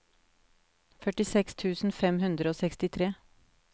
førtiseks tusen fem hundre og sekstitre